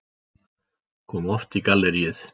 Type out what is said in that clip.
Kom oft í galleríið.